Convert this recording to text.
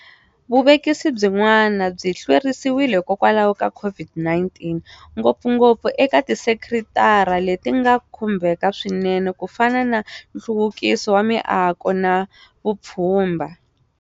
Vuvekisi byin'wana byi hlwerisiwile hikwalaho ka COVID-19, ngopfungopfu eka tisekitara leti nga khumbeka swinene ku fana na nhluvukiso wa miako na vupfhumba.